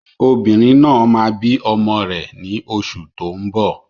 Obìnrin náà máa bí ọmọ rẹ̀ ní oṣù tó ń bọ̀